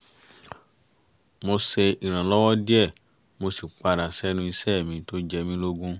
mo ṣe ìrànlọ́wọ́ díẹ̀ mo sì padà sẹ́nu iṣẹ́ mi tó jẹ mí lógún